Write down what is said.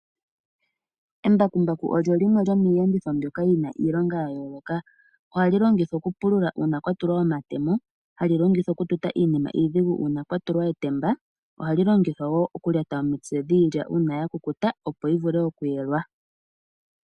Embakumbaku lyo limwe lyomiiyenditho mbyoka yina iilonga ya yooloka. Ohali longithwa okupulula uuna kwatulwa omatemo. Ohali okututa iinima iidhigu uuna kwa tulwa etemba. Ohali longithwa wo okulyata omitse dhiilya uuna ya kukuta opo yi vule okuyelwa.